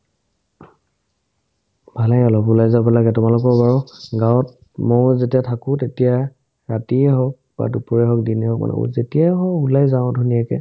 ভালে অলপ ওলাই যাব লাগে তোমালোকৰ বাৰু গাৱত মই যেতিয়া থাকো তেতিয়া ৰাতিয়ে হওক বা দুপৰীয়া হওক দিনে হওক যেতিয়াই হও ওলাই যাওঁ ধুনীয়াকে